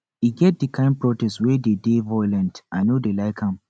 e get di kain protest wey dey dey violent i no dey like am